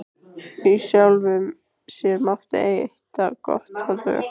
Í sjálfu sér mátti heita gott að lög